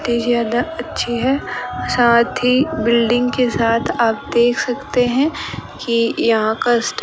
ये ज्यादा अच्छी है साथ ही बिल्डिंग के साथ आप देख सकते है ये यहां का स्टॉ --